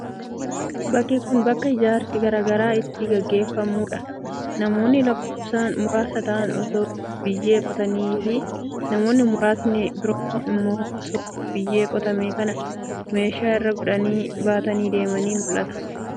Bakki kun, bakka ijaarsi garaa garaa itti gaggeeffamuu dha. Namoonni lakkoofsan muraasa ta'an osoo biyyee qotanii fi namoonni muraasni biroo immoo osoo biyyee qotame kana meeshaa irra godhanii baatanii deemanii mul'atu.